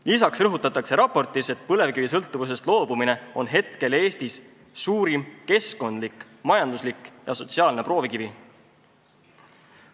Lisaks rõhutatakse raportis, et põlevkivisõltuvusest loobumine on hetkel Eestis suurim keskkondlik, majanduslik ja sotsiaalne proovikivi.